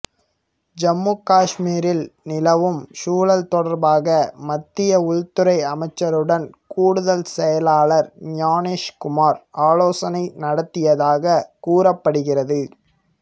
ஜம்மு காஷ்மீரில் நிலவும் சூழல் தொடர்பாக மத்திய உள்துறை அமைச்சருடன் கூடுதல் செயலாளர் ஞானேஷ்குமார் ஆலோசனை நடத்தியதாக கூறப்படுகிறது